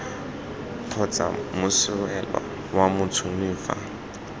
kgotsa moswelwa fa motšhoni fa